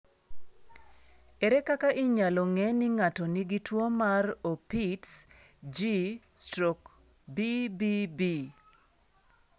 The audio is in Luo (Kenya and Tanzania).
Ere kaka inyalo ng'e ni ng'ato nigi tuwo mar Opitz G/BBB?